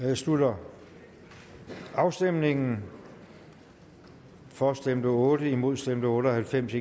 jeg slutter afstemningen for stemte otte imod stemte otte og halvfems